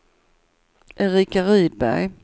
Erika Rydberg